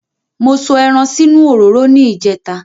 Mo sọ ẹran sínú òróró ní ìjẹta